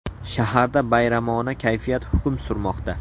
Shaharda bayramona kayfiyat hukm surmoqda.